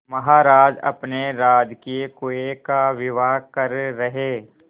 महाराज अपने राजकीय कुएं का विवाह कर रहे